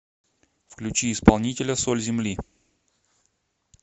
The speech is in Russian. включи исполнителя соль земли